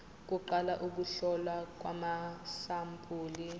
kuqala ukuhlolwa kwamasampuli